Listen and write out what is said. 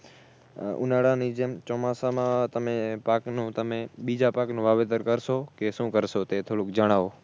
ઉનાળાની જેમ ચોમાસામાં તમે પાકનું તમે બીજા પાકનું વાવેતર કરશો કે શું કરશો તે થોડુક જણાવો